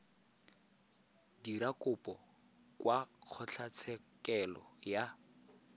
dira kopo kwa kgotlatshekelo ya